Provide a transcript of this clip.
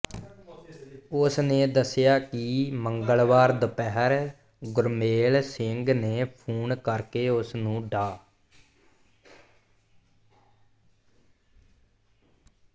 ਉਸਨੇ ਦੱਸਿਆ ਕਿ ਮੰਗਲਵਾਰ ਦੁਪਹਿਰ ਗੁਰਮੇਲ ਸਿੰਘ ਨੇ ਫੋਨ ਕਰਕੇ ਉਸਨੂੰ ਡਾ